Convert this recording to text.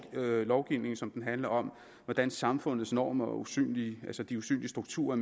lovgivningen som den handler om hvordan samfundets normer er usynlige altså de usynlige strukturer